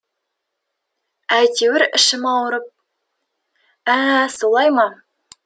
әйтеуір ішім ауырып ә солай ма